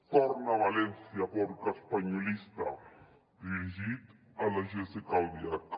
torna a valència porca espanyolista dirigit a la jéssica albiach